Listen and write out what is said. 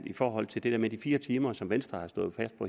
i forhold til det der med de fire timer som venstre